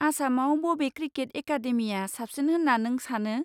आसामाव बबे क्रिकेट एकाडेमिया साबसिन होन्ना नों सानो?